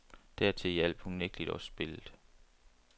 Dertil hjalp unægtelig også spillet.